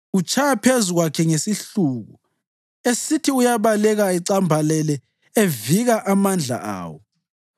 Utshaya phezu kwakhe ngesihluku esithi uyabaleka ecambalele evika amandla awo.